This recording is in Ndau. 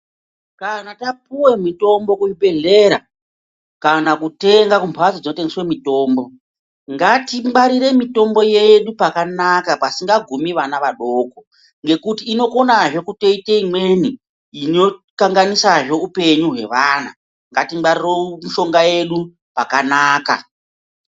Kana tapuwa mutombo kuzvigwehleya kana kutenga kubhatso dzinotengeswa mitombo, ngati gwarire mitombo yedu pakanaka pasingagumi vana vadoko nekuti inokona zvekutoita imweni inokanganisa zvehupenyu wevana ,ngatigwarire mishonga yedu pakanaka.